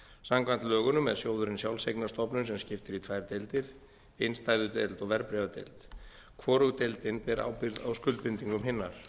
samkvæmt lögunum er sjóðurinn sjálfseignarstofnun sem skipt er í tvær deildir innstæðudeild og verðbréfadeild hvorug deildin ber ábyrgð á skuldbindingum hinnar